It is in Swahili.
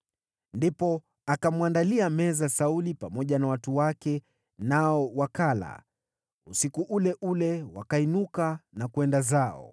Ndipo akamwandalia meza Sauli pamoja na watu wake, nao wakala. Usiku ule ule wakainuka na kwenda zao.